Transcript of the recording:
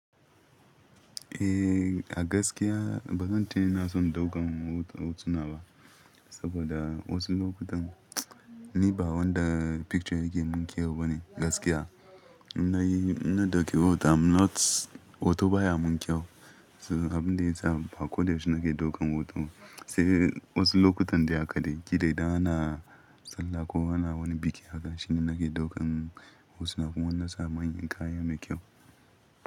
Eh a gaskiya bazan ce ina son daukan hoto-hotuna ba, saboda wasu lokutan ni ba wanda picture yake mun kyau bane gaskiya. Ina yi, ina dauke hoto am not, hoto baya mun kyau. Abin da yasa ba ko da yaushe nake daukan hoto. Sai wasu lokutan dai haka dai, ji da yana sallah ko ana wani biki haka shine nake daukan hotuna. Wannan nasa manyan kaya mai kyau.